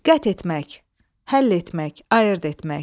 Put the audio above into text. Qət etmək, həll etmək, ayırd etmək.